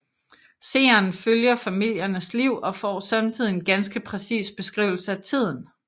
Seeren følger familiernes liv og får samtidig en ganske præcis beskrivelse af tiden